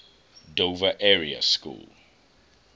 dover area school